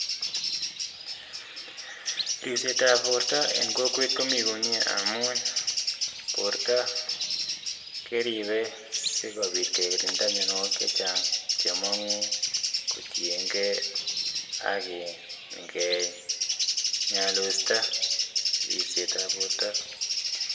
Ribset ab borto eng kokwet komi komye amun borto keribei sikobit kekirinda myonwokik chechang chemong'u eng kaluset ab borto